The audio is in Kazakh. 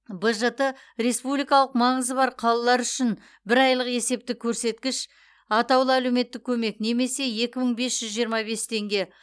бжт республикалық маңызы бар қалалар үшін бір айлық есептік көрсеткіш атаулы әлеуметтік көмек немесе екі мың бес жүз жиырма бес теңге